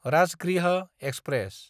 Rajgriha express